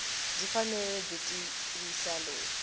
byi fanele byi tivisa loyi